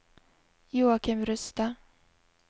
Joachim Rustad